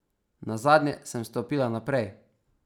Nazadnje sem stopila naprej.